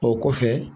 O kɔfɛ